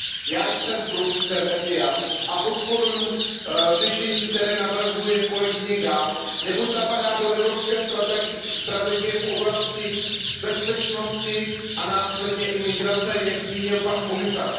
Já jsem pro systém ETIAS a podporuji řešení, které navrhuje kolegyně Gálová, neboť zapadá do evropské strategie v oblasti bezpečnosti a následně i migrace, jak zmínil pan komisař.